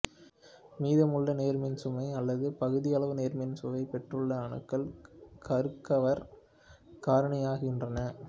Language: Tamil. மீதமுள்ள நேர்மின்சுமை அல்லது பகுதியளவு நேர்மின்சுமை பெற்றுள்ள அணுக்கள் கருக்கவர் காரணியாகின்றன